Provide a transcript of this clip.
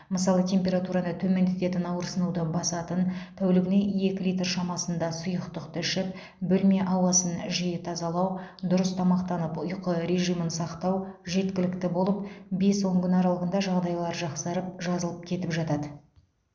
мысалы температураны төмендететін ауырсынуды басатын тәулігіне екі лирт шамасында сұйықтықты ішіп бөлме ауасын жиі тазалау дұрыс тамақтанып ұйқы режимін сақтау жеткілікті болып бес он күн аралығында жағдайлары жақсарып жазылып кетіп жатады